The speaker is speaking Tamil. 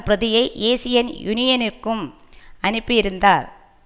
பிரதியை ஏசியன் யூனியனிற்கும் அனுப்பியிருந்தார்